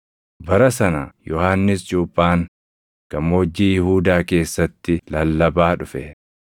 Bara sana Yohannis Cuuphaan gammoojjii Yihuudaa keessatti lallabaa dhufe;